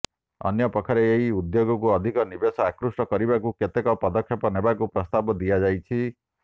ଅନ୍ୟପକ୍ଷରେ ଏହି ଉଦ୍ୟୋଗକୁ ଅଧିକ ନିବେଶ ଆକୃଷ୍ଟ କରିବାକୁ କେତେକ ପଦକ୍ଷେପ ନେବାକୁ ପ୍ରସ୍ତାବ ଦିଆଯାଇଛି